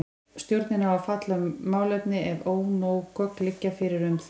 Stjórnin á að fjalla um málefni ef ónóg gögn liggja fyrir um þau.